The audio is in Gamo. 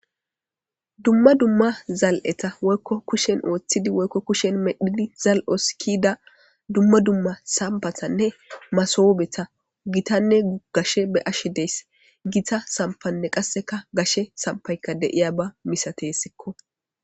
Dumma dumma zal7eta woykko kushen ooththidi woykko kushen medhidi zal7osikida dumma dumma sambathanne masoobeta gitanne uggashe be ashe deyss gita sampanne qasseka gashe sampaykka deiya ba misateessikko.